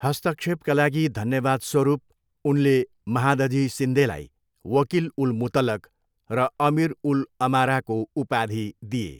हस्तक्षेपका लागि धन्यवादस्वरूप, उनले महादजी सिन्देलाई वकिल उल मुतलक र अमीर उल अमाराको उपाधि दिए।